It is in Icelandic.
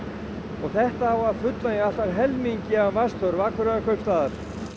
og þetta á að fullnægja allt að helmingi af vatnsþörf Akureyrarkaupstaðar